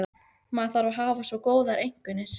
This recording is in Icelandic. Maður þarf að hafa svo góðar einkunnir.